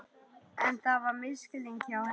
En það var misskilningur hjá henni.